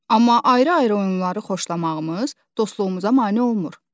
Amma ayrı-ayrı oyunları xoşlamağımız dostluğumuza mane olmur.